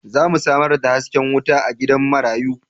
Za mu samar da haske wuta a gidan marayu.